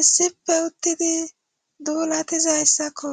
issife uttidi duulatizayssakko.